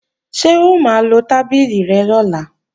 Ṣé o máa lo tábìlì rẹ lọ́la?